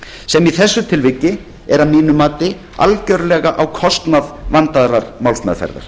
sem í þessu tilviki er að mínu mati algjörlega á kostnað vandaðrar málsmeðferðar